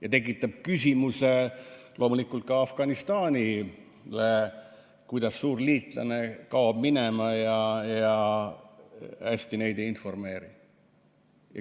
Ja tekitab küsimusi loomulikult ka Afganistanile, kui suur liitlane kaob minema ja hästi neid ei informeeri.